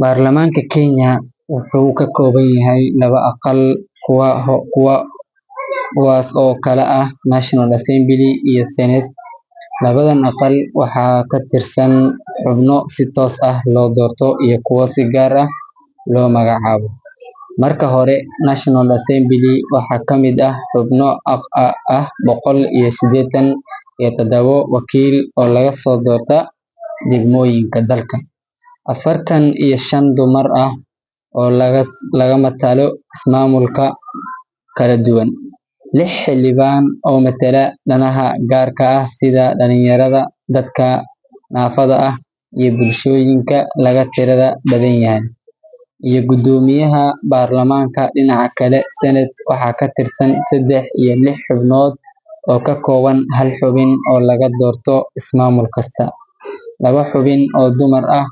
Baarlamaanka Kenya wuxuu ka kooban yahay laba aqal, kuwaas oo kala ah National Assembly iyo Senate. Labadan aqal waxaa ka tirsan xubno si toos ah loo doorto iyo kuwo si gaar ah loo magacaabo. Marka hore, National Assembly waxaa ka mid ah xubno ah boqol iyo siddeetan iyo toddoba wakiil oo laga soo doorto degmooyinka dalka, afartan iyo shan dumar ah oo laga matalo ismaamulo kala duwan, lix xildhibaan oo matala danaha gaarka ah sida dhalinyarada, dadka naafada ah, iyo bulshooyinka laga tirada badan yahay, iyo guddoomiyaha baarlamaanka. Dhinaca kale, Senate waxaa ka tirsan saddex iyo lix xubnood oo ka kooban hal xubin oo laga doorto ismaamul kasta, laba xubin oo dumar ah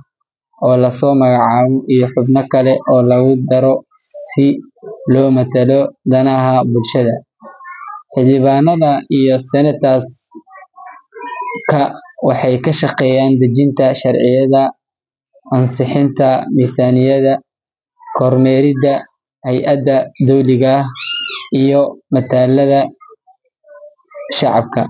oo la soo magacaabo, iyo xubno kale oo lagu daro si loo matalo danaha bulshada. Xildhibaanada iyo senators-ka waxay ka shaqeeyaan dejinta sharciyada, ansixinta miisaaniyadda, kormeeridda hay’adaha dowliga ah, iyo matalaadda shacabka.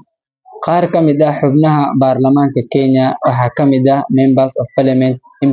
Qaar ka mid ah xubnaha baarlamaanka Kenya waxaa ka mid ah Members of Parliament MPs.